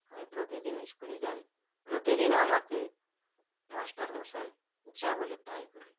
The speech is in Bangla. আমি প্রতিদিন school -এ যাই প্রতিদিন আমাকে master মশাই যা বলে তাই করি